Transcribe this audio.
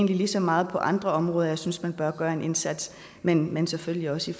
lige så meget på andre områder hvor jeg synes man bør gøre en indsats men men selvfølgelig også